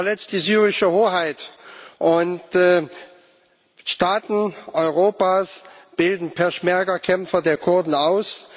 Sie verletzt die syrische Hoheit, und Staaten Europas bilden Peschmerga Kämpfer der Kurden aus.